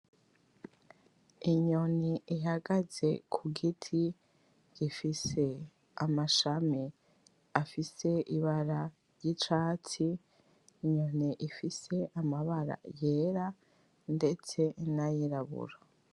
Inyoni ihagaze kugiti gifise amashami afise Ibara ry'icatsi. Inyoni ifise amabara yera ndetse nayirabura.